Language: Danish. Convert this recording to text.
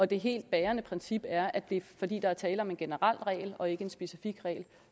det helt bærende princip er at der fordi der er tale om en generel regel og ikke en specifik regel